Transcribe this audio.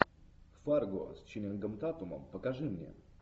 фарго с ченнингом татумом покажи мне